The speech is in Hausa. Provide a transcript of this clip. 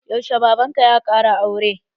Yaushe baban ka ya ƙara aure?